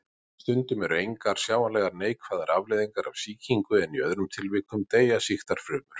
Stundum eru engar sjáanlegar neikvæðar afleiðingar af sýkingu en í öðrum tilvikum deyja sýktar frumur.